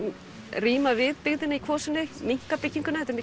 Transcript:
ríma við byggðina í Kvosinni minnka byggingarnar þetta